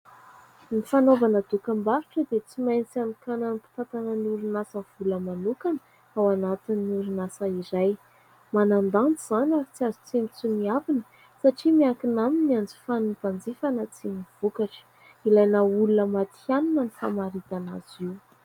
Ny fanaovana dokam-barotra dia tsy maintsy anokanan'ny mpitantana ny orinasa vola manokana ao anatin'ny orinasa iray. Manan-danja izany ary tsy azo tsinontsinoavana satria miankina aminy ny hanjifan'ny mpanjifa na tsia ny vokatra. Ilana olona mantianina ny famaritana azy io.